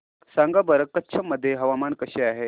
सांगा बरं कच्छ मध्ये हवामान कसे आहे